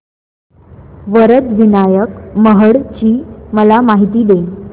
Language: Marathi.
वरद विनायक महड ची मला माहिती दे